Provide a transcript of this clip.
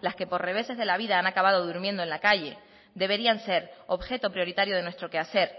las que por reveses de la vida han acabado durmiendo en la calle deberían ser objeto prioritario de nuestro quehacer